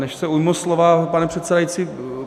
Než se ujmu slova, pane předsedající...